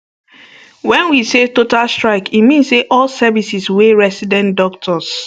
wen we say total strike e mean say all services wey resident doctors